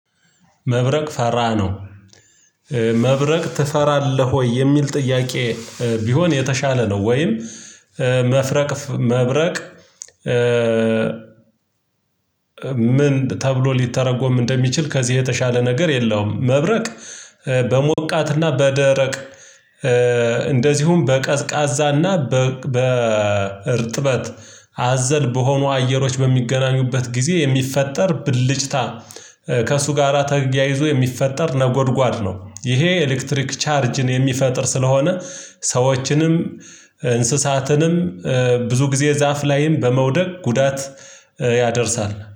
መብረቅ ፈራ ነው። መብረቅ ትፈራለህ ወይ የሚል ጥያቄ? ቢሆን የተሻለ ነው ወይም መፍረቅ መብረቅ። ምን ተብሎ ሊተረጎም እንደሚችል ከዚህ የተሻለ ነገር የለውም። መብረቅ። በሞቃትና በደረቅ እንደዚሁም በቀዝቃዛና በእርጥበት አዘል በሆኑ አየሮች በሚገናኙበት ጊዜ የሚፈጠር ብልጭታ ከእሱ ጋራ ተጊያይዞ የሚፈጠር ነጎድጓድ ነው። ይሄ ኤሌክትሪክ ቻርጅን የሚፈጥር ስለሆነ ሰዎችንም እንስሳትንም ብዙ ጊዜ ዛፍ ላይም በመውደቅ ጉዳት ያደርሳል